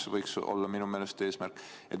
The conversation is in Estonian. See viimane võiks minu meelest olla eesmärk.